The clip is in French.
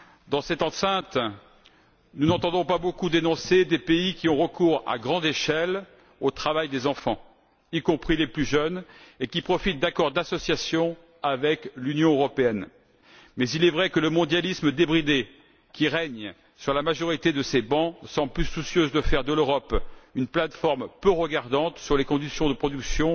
Dans cette enceinte, nous n'entendons pas beaucoup dénoncer des pays qui ont recours, à grande échelle, au travail des enfants, y compris des plus jeunes, et qui profitent d'accords d'association avec l'Union européenne. Mais il est vrai que le mondialisme débridé, qui règne sur la majorité de ces bancs, semble plus soucieux de faire de l'Europe une plateforme peu regardante sur les conditions de production